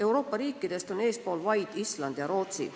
Euroopa riikidest on eespool vaid Island ja Rootsi.